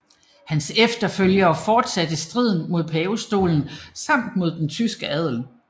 Hans efterfølgere fortsatte striden mod pavestolen samt mod den tyske adel